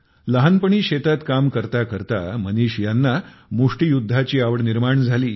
लहानपणी शेतात काम करता करता मनीष ह्यांना मुष्टियुद्धाची आवड निर्माण झाली